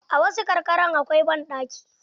A wasu karkaran akwai banɗaki.